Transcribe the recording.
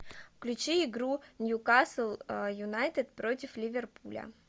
включи игру ньюкасл юнайтед против ливерпуля